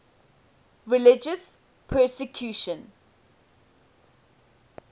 religious persecution